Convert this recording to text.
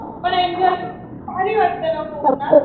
पण एन्जॉय भारी वाटतं ना कोकणात.